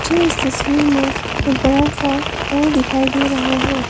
मुझे इस तस्वीर में एक बड़ा सा हॉल दिखाई दे रहा है।